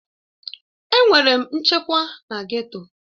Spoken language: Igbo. Èè, enwere m nchekwa na geto.